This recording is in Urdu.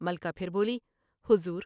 ملکہ پھر بولی ۔" حضور!